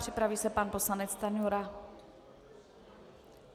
Připraví se pan poslanec Stanjura.